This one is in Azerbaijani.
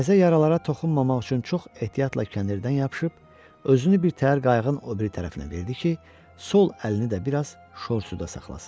Təzə yaralara toxunmamaq üçün çox ehtiyatla kəndirdən yapışıb, özünü bir təhər qayığın o biri tərəfinə verdi ki, sol əlini də biraz şorsuda saxlasın.